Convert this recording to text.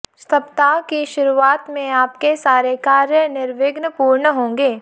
सप्ताह की शुरूआत में आपके सारे कार्य निर्विघ्न पूर्ण होंगे